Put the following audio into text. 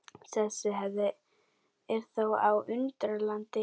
Þessi hefð er þó á undanhaldi.